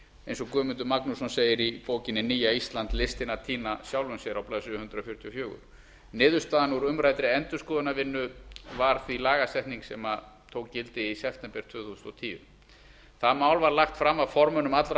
eins og guðmundur magnússon segir í bókinni nýja ísland listin að týna sjálfri sér á blaðsíðu hundrað fjörutíu og fjögur niðurstaðan úr umræddri endurskoðunarvinnu var því lagasetning sem tók gildi í september tvö þúsund og tíu það mál var lagt fram af formönnum allra